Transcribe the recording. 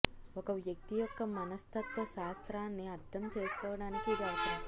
ఒక వ్యక్తి యొక్క మనస్తత్వ శాస్త్రాన్ని అర్థం చేసుకోవడానికి ఇది అవసరం